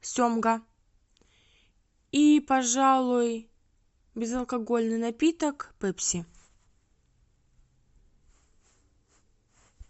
семга и пожалуй безалкогольный напиток пепси